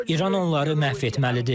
İran onları məhv etməlidir.